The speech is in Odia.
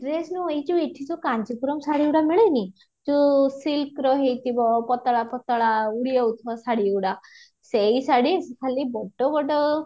dress ନୁହ ଏ ଯୋଉଁ ଏଠି ଯୋଉଁ କାଞ୍ଜିପୁରମ ଶାଢୀ ଗୁଡାକ ମିଳେନି ଯୋଉଁ silk ର ହେଇଥିବ ପତଳା ପତଳା ଉଡିଯାଉଥିବ ହେଇଥିବ ଶାଢୀ ଗୁଡା ସେଈ ଶାଢୀ ଖାଲି ବଡ ବଡ